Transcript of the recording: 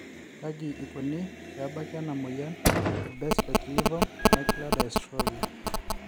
Kaji ikoni pee ebaki ena moyian e Best vitelliform macular dystrophy?